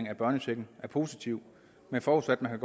af børnechecken er positivt men forudsat at man